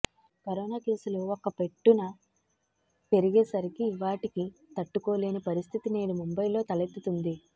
corona కేసులు ఒక్క పెట్టున పెరిగే సరికి వాటికి తట్టుకోలేని పరిస్థితి నేడు ముంబయిలో తలెత్తుతోంది